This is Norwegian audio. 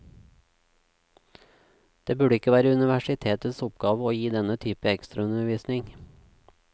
Det burde ikke være universitetets oppgave å gi denne type ekstraundervisning.